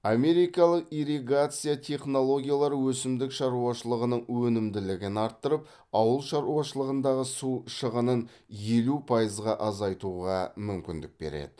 америкалық ирригация технологиялары өсімдік шаруашылығының өнімділігін арттырып ауыл шаруашылығындағы су шығынын елу пайызға азайтуға мүмкіндік береді